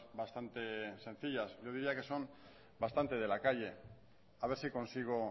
bastante sencillas yo diría que son bastante de la calle a ver si consigo